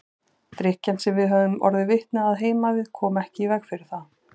Drykkjan sem við höfðum orðið vitni að heima við kom ekki í veg fyrir það.